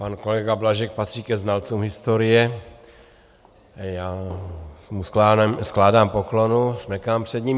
Pan kolega Blažek patří ke znalcům historie, já mu skládám poklonu, smekám před ním.